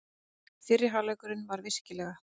Fyrri hálfleikurinn var virkilega.